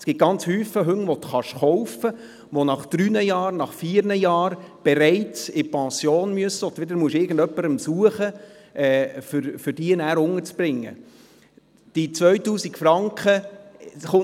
Es gibt sehr viele Hunde, die nach drei oder vier Jahren bereits in Pension gehen müssen, und dann muss man jemanden suchen, der sie übernimmt.